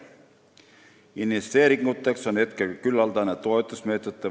Investeeringuteks on juba olemas küllaldaselt toetusmeetmeid.